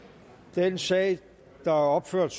den sag der er opført